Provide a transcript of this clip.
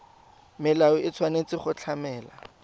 molao o tshwanetse go tlamela